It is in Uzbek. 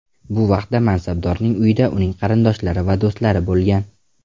Bu vaqtda mansabdorning uyida uning qarindoshlari va do‘stlari bo‘lgan.